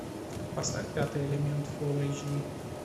поставь пятый элемент фул эйч ди